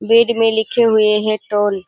Bed में लिखे हुए है टोल।